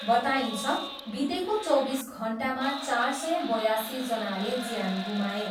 बताइन्छ, बितेको चौबिस घन्टामा चार सय बयासीजनाले ज्यान गुमाए।